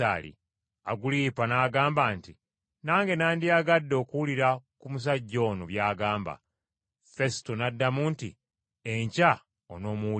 Agulipa n’agamba nti, “Nange nandiyagadde okuwulira ku musajja ono by’agamba.” Fesuto n’addamu nti, “Enkya onoomuwulira.”